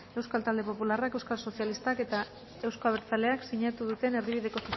euskal talde popularrak euskal sozialistak eta euzko abertzaleak sinatu duten erdibideko